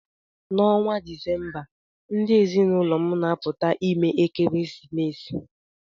N'ọnwa Disemba, ndị ezinụlọ m na-apụta ime ekeresimesi